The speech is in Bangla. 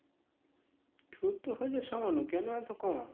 চোদ্দ হাজার সামান্য কেন এত কম?